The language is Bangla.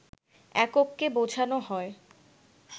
একককে বোঝানো হয়